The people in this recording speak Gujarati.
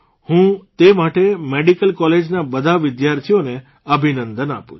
હું તે માટે મેડિકલ કોલેજના બધા વિદ્યાર્થીઓને અભિનંદન આપું છું